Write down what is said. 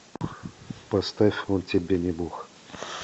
поставь он тебе не бог